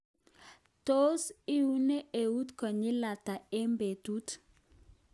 Tos iune eut konyil ata eng betut.